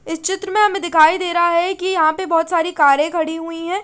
इस चित्र में हमे दिखाई देरा है की यहा पे बोहोत सारी कारे खड़ी हुई है।